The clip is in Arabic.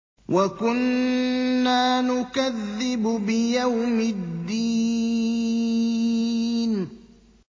وَكُنَّا نُكَذِّبُ بِيَوْمِ الدِّينِ